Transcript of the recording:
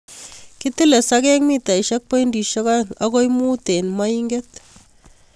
Kitile sokek mitaisiek pointisiek oeng akoi mut en moinket.